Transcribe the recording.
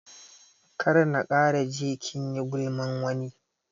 Kar na kara ji kinyi gulman wani